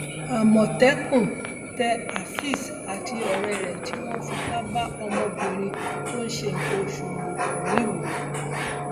àmọtẹkùn tẹ áfẹez àti ọrẹ rẹ tí wọn fipá bá ọmọbìnrin tó ń ṣe nǹkan oṣù lò pọ nìwòo